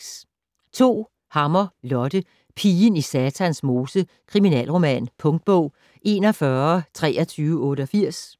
Hammer, Lotte: Pigen i Satans mose: kriminalroman Punktbog 412388